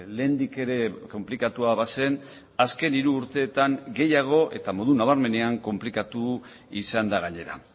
lehendik ere konplikatua bazen azken hiru urteetan gehiago eta modu nabarmenean konplikatu izan da gainera